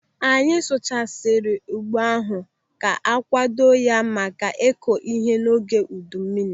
Anyị sụchasiri ugbo ahụ ka akwado ya maka ịkọ ihe n'oge udu mmiri.